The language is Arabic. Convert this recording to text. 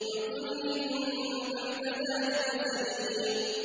عُتُلٍّ بَعْدَ ذَٰلِكَ زَنِيمٍ